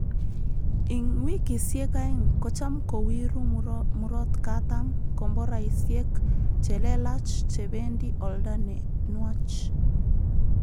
Ing wikisyek aeng kocham kowiru murotkatam komboraisyek che lelaach che bendi olda ne nwach